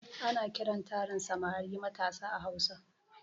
Ana kiran tarin samarai matasa a hausa